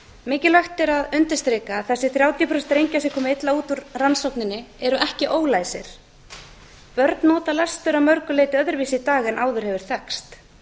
mikilvægt er að undirstrika að þessir þrjátíu prósent drengja sem komu illa út úr rannsókninni eru ekki læsi börn nota lestur að mörgu leyti öðruvísi í dag en áður hefur þekkst þau eru klár